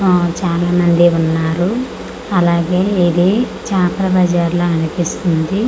ఆఆ చానా మందే ఉన్నారు అలాగే ఇది చాపల బజార్ లా అనిపిస్తుంది.